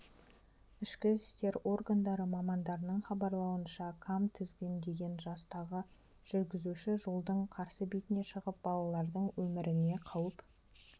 ішкі істер органдары мамандарының хабарлауынша кам тізгіндеген жастағы жүргізуші жолдың қарсы бетіне шығып балалардың өміріне қауіп